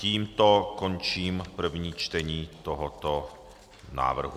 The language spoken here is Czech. Tímto končím první čtení tohoto návrhu.